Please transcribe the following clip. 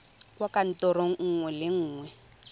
kwa kantorong nngwe le nngwe